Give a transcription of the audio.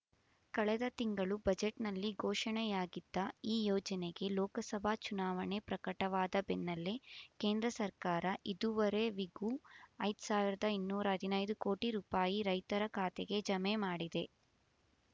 ಕಳೆದ ತಿಂಗಳು ಬಜೆಟ್‌ನಲ್ಲಿ ಘೋಷಣೆಯಾಗಿದ್ದ ಈ ಯೋಜನೆಗೆ ಲೋಕಸಭಾ ಚುನಾವಣೆ ಪ್ರಕಟವಾದ ಬೆನ್ನಲ್ಲೇ ಕೇಂದ್ರ ಸರ್ಕಾರ ಇದೂವರೆವಿಗೂ ಐದು ಸಾವಿರದ ಇನ್ನೂರ ಹದಿನೈದು ಕೋಟಿ ರೂಪಾಯಿ ರೈತರ ಖಾತೆಗೆ ಜಮೆ ಮಾಡಿದೆ